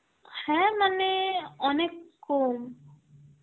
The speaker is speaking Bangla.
হ্যাঁ মানে অনেক কম.